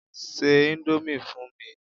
Ṣé ìndòmí fún mi!